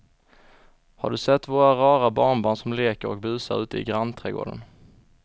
Har du sett våra rara barnbarn som leker och busar ute i grannträdgården!